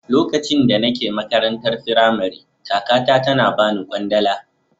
Lokacin da nake makarantar Firamare kakata tana bani kwandala.